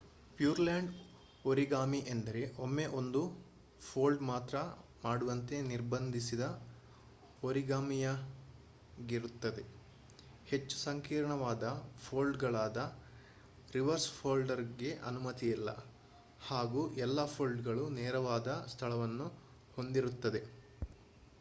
pure land origami ಎಂದರೆ ಒಮ್ಮೆ ಒಂದು ಫೋಲ್ಡ್ ಮಾತ್ರ ಮಾಡುವಂತೆ ನಿರ್ಬಂಧಿಸಿದ ಓರಿಗಾಮಿಯಾಗಿರುತ್ತದೆ ಹೆಚ್ಚು ಸಂಕೀರ್ಣವಾದ ಫೋಲ್ಡ್ ಗಳಾದ ರಿವರ್ಸ್ ಫೋಲ್ಡ್ ಗೆ ಅನುಮತಿ ಇಲ್ಲ ಹಾಗೂ ಎಲ್ಲಾ ಫೋಲ್ಡ್ ಗಳು ನೇರವಾದ ಸ್ಥಳಗಳನ್ನು ಹೊಂದಿರುತ್ತದೆ